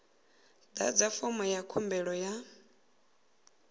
ḓadza fomo ya khumbelo ya